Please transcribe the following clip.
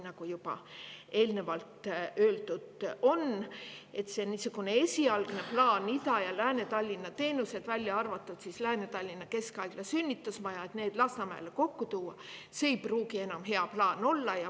Nagu juba eelnevalt öeldud on, see esialgne plaan tuua Ida‑ ja Lääne-Tallinna teenused, välja arvatud Lääne-Tallinna Keskhaigla sünnitusmaja, Lasnamäele kokku, ei pruugi enam hea plaan olla.